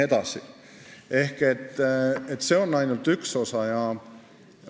Aga see on ainult üks osa saagast.